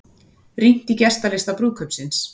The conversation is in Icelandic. Rýnt í gestalista brúðkaupsins